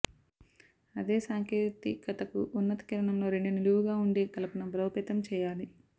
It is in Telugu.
అదే సాంకేతికతకు ఉన్నత కిరణంలో రెండు నిలువుగా ఉండే కలపను బలోపేతం చేయాలి